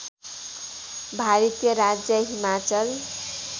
भारतीय राज्य हिमाचल